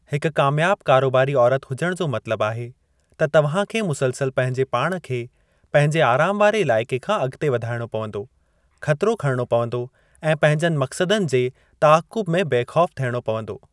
हिक कामयाबु कारोबारी औरत हुजण जो मतलबु आहे त तव्हां खे मुसलसल पंहिंजो पाण खे पंहिंजे आराम वारे इलाइक़े खां अॻिते वधाइणो पंवदो, ख़तिरो खणिणो पंवदो ऐं पंहिंजनि मक़सदनि जे तआक़ुब में बेख़ौफ़ु थियणो पंवदो।